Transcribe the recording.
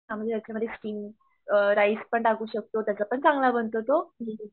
हा म्हणजे हेच्यामध्ये स्टिंग अ राईस पण टाकूं शकतो त्याचा पण चांगला बनतो तो